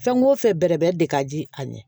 Fɛn o fɛn bɛrɛbɛn de ka di a ye